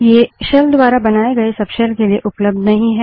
ये शेल द्वारा बनाए गए सबशेल के लिए उपलब्ध नहीं हैं